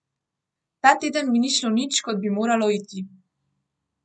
Ta teden mi ni šlo nič, kot bi moralo iti.